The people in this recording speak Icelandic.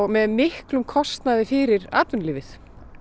með miklum kostnaði fyrir atvinnulífið